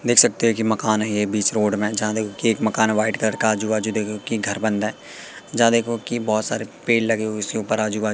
देख सकते हैं कि मकान है ये बीच रोड में जहां देखो कि एक मकान व्हाईट कलर का आजू बाजू देखो की घर बन रहा हैं जहां देखो की बहुत सारे पेड़ लगे हुए है इसके ऊपर आजू बा --